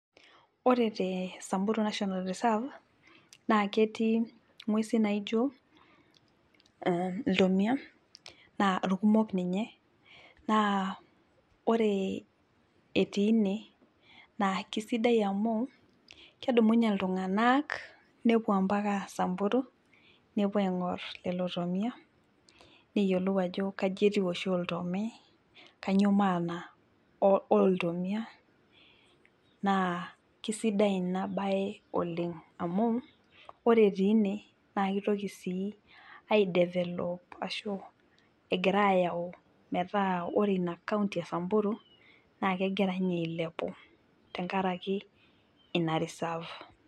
Ore te samburu national reserve naa ketii ngwesin naijo ,iltomia naa irkumok ninye naa ore etii ine naa keisidai amu kedumunye iltunganak nepuo mpaka samburu nepuo aingor lelo tomia neyiolou ajo kaji oshi etiu oltome ,kainyoo maana iltomia naa keisidai ina bae oleng ,naa ore sii etii ine ore inakaonty esamburu naa kegira ninye eilepu tenkaraki ina risaff.